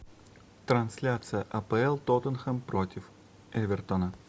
трансляция апл тоттенхэм против эвертона